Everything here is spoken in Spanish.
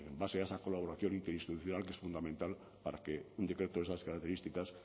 base a esa colaboración interinstitucional que es fundamental para que un decreto de esas características